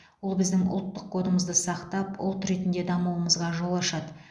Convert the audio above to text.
ол біздің ұлттық кодымызды сақтап ұлт ретінде дамуымызға жол ашады